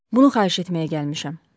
Bunu xahiş etməyə gəlmişəm.